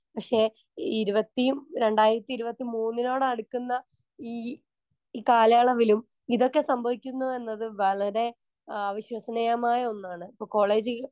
Speaker 1 പക്ഷേ ഇരുപത്തി രണ്ടായിരത്തി ഇരുപത്തി മൂന്നിനോടടുക്കുന്ന ഈ ഇ കാലയളവിലും ഇതൊക്കെ സംഭവിക്കുന്നു എന്നത് വളരെ അവിശ്വസനീയമായ ഒന്നാണ്. ഇപ്പൊ കോളേജിൽ